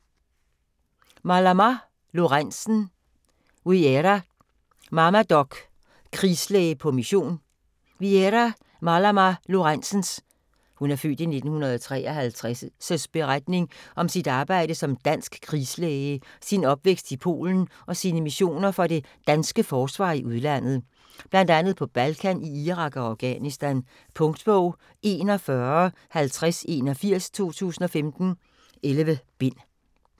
Malamá Lorentzen, Wiera: Mamma doc: krigslæge på mission Wiera Malamá Lorentzens (f. 1953) beretning om sit arbejde som dansk krigslæge, sin opvækst i Polen og sine missioner for det danske forsvar i udlandet. Blandt andet på Balkan, i Irak og Afghanistan. Punktbog 415081 2015. 11 bind.